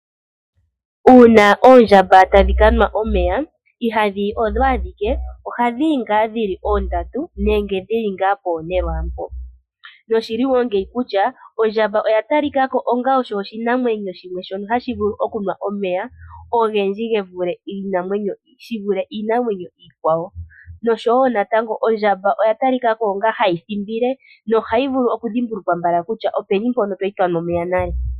Uuna oondjamba tadhi kanwa omeya ihadhiyi odho adhike ,Ohadhiyi ngaa dhili oondatu nenge dhili nga ne lwaampo. Oshili ngeyi kutya ondjamba oya talikako onga oyo oshinamwenyo shono hashi vulu okunwa omeya ogendji shivule iinamwenyo iikwawo noshowo natango ondjamba oya talikako onga hayi thimble nohayi vulu oku dhimbulukwa mbaka kutya openi mpono kwali yanwa omeya nale.